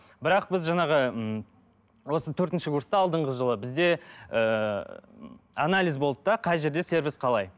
бірақ біз жаңағы ыыы осы төртінші курста алдыңғы жылы бізде ыыы анализ болды да қай жерде сервис қалай